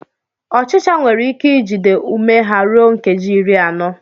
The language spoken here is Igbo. Ọchịchọ nwere ike ijide ume ha ruo nkeji iri anọ.